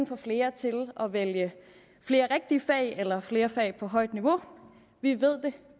får flere til at vælge flere rigtige fag eller flere fag på højt niveau vi ved det